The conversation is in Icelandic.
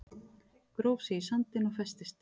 Gróf sig í sandinn og festist